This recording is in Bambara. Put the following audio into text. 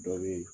Dɔ be ye